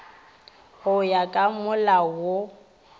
go ya ka molao wo